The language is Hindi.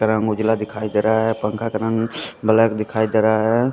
रंग उजला दिखाई दे रहा है पंखा का रंग बलैक दिखाई दे रहा है।